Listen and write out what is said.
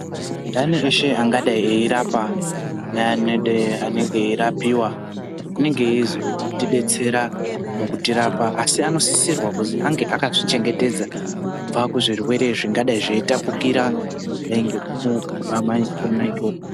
Ntani eshe angadai eirapa neaanenge eirapiwa anenge eizotidetsera mukurapa asi ansisirwa kuti ange akazvi chengetedza kubva kuzvirwere zvingadai zveitapukira kudai ngekumugwama kona ikoko.